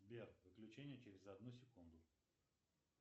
сбер выключение через одну секунду